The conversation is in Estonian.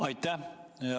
Aitäh!